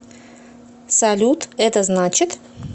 салют это значит